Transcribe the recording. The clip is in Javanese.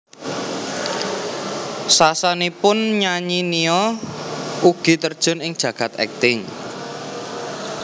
Sasanesipun nyanyi Nia ugi terjun ing jagad akting